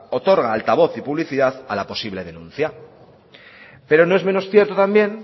otorga altavoz y publicidad a la posible denuncia pero no es menos cierto también